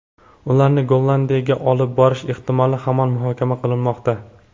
Ularni Gollandiyaga olib borish ehtimoli hamon muhokama qilinmoqda.